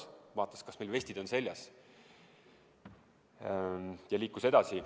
Ta vaatas, kas meil vestid seljas, ja liikus edasi.